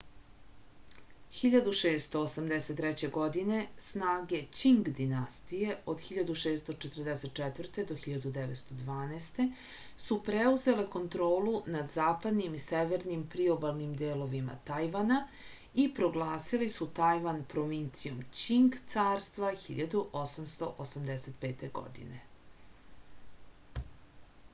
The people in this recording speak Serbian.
1683. године снаге ћинг династије 1644-1912 су преузеле контролу над западним и северним приобалним деловима тајвана и прогласили су тајван провинцијом ћинг царства 1885. године